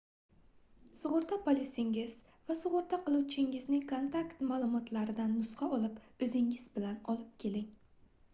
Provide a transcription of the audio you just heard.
sugʻurta polisingiz va sugʻurta qiluvchingizning kontakt maʼlumotlaridan nusxa olib oʻzingiz bilan olib keling